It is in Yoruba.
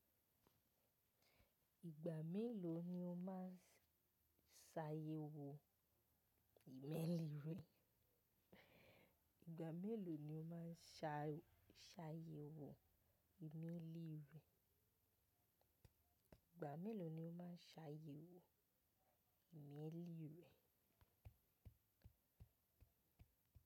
Ìgbà mélòó ni o máa ń ṣàyẹ̀wò ìmẹ́lì rẹ? Ìgbà mélòó ni o máa ń ṣà ṣàyẹ̀wò nile ìwé. Ìgbà mélòó ni o máa ṣàyẹ̀wò nile ìwé?